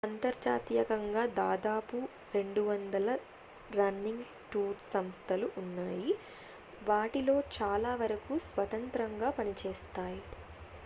అంతర్జాతీయంగా దాదాపు 200 running tour సంస్థలు ఉన్నాయి వాటిలో చాలా వరకు స్వతంత్రంగా పనిచేస్తాయి